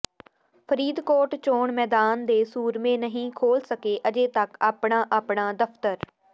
ਫਰੀਦਕੋਟ ਚੋਣ ਮੈਦਾਨ ਦੇ ਸੂਰਮੇ ਨਹੀਂ ਖੋਲ ਸਕੇ ਅਜੇ ਤੱਕ ਆਪਣਾ ਆਪਣਾ ਦਫਤਰ